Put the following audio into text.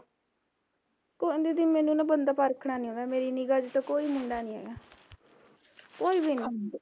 ਕੋਈ ਨੀ ਦੀਦੀ ਮੈਨੂੰ ਨਾ ਬੰਦਾ ਪਰਖਣਾ ਨੀ ਆਉਂਦਾ ਮੇਰੀ ਨਿਗਾ ਚ ਤਾਂ ਕੋਈ ਮੁੰਡਾ ਨੀ ਹੈਗਾ ਕੋਈ ਵੀ ਨੀ